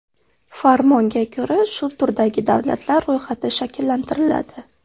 Farmonga ko‘ra, shu turdagi davlatlar ro‘yxati shakllantiriladi.